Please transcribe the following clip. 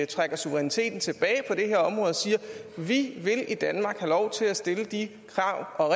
trækker suveræniteten tilbage på det her område og siger vi vil i danmark have lov til at stille de krav og